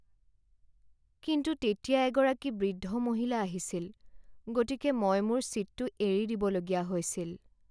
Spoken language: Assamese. কিন্তু তেতিয়া এগৰাকী বৃদ্ধ মহিলা আহিছিল, গতিকে মই মোৰ ছীটটো এৰি দিবলগীয়া হৈছিল।